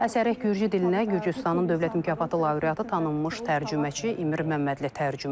Əsəri gürcü dilinə Gürcüstanın dövlət mükafatı laureatı tanınmış tərcüməçi Emir Məmmədli tərcümə edib.